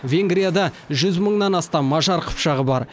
венгрияда жүз мыңнан астам мажар қыпшағы бар